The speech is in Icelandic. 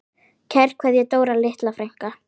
Kær kveðja, Dóra litla frænka.